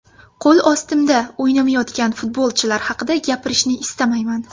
Qo‘l ostimda o‘ynamayotgan futbolchilar haqida gapirishni istamayman.